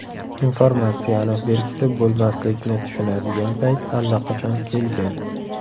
Informatsiyani berkitib bo‘lmaslikni tushunadigan payt allaqachon kelgan.